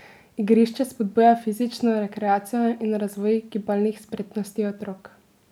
Igrišče spodbuja fizično rekreacijo in razvoj gibalnih spretnosti otrok.